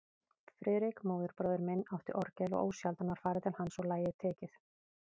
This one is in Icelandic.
Friðrik, móðurbróðir minn, átti orgel og ósjaldan var farið til hans og lagið tekið.